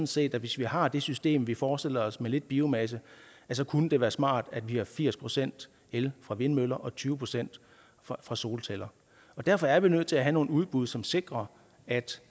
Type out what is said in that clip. set at hvis vi har det system vi forestiller os med lidt biomasse så kunne det være smart at vi har firs procent el fra vindmøller og tyve procent fra solceller derfor er vi nødt til at have nogle udbud som sikrer at